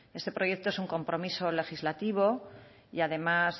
este proyecto es un compromiso legislativo y además